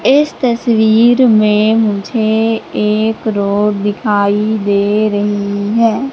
इस तस्वीर में मुझे एक रोड दिखाई दे रही है।